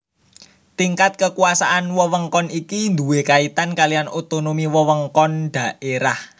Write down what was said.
Tingkat kekuasaan wewengkon iki duwé kaitan kaliyan otonomi wewengkon/daerah